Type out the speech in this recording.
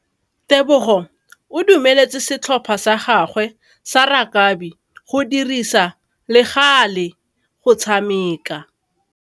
Tebogô o dumeletse setlhopha sa gagwe sa rakabi go dirisa le galê go tshameka.